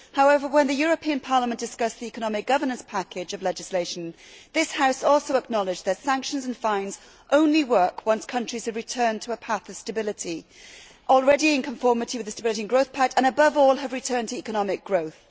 However, when Parliament discussed the economic governance package of legislation, this House also acknowledged that sanctions and fines only work once countries have returned to a path of stability, already in conformity with the Stability and Growth Pact, and above all have returned to economic growth.